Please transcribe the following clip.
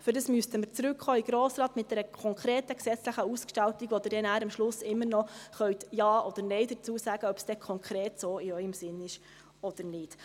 Dafür müssten wir mit einer konkreten gesetzlichen Ausgestaltung in den Grossen Rat zurückkommen, zu der Sie dann am Schluss immer noch mit Ja oder Nein sagen können, ob dies dann konkret in Ihrem Sinn ist oder nicht.